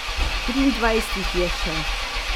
Triindvajset jih je še.